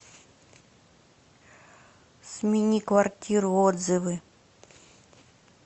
смениквартиру отзывы